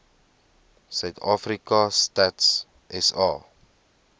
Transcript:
suidafrika stats sa